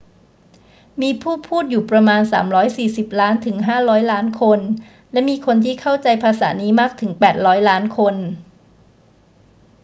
มีผู้พูดอยู่ประมาณ 340 ล้านถึง 500 ล้านคน และมีคนที่เข้าใจภาษานี้มากถึง 800 ล้านคน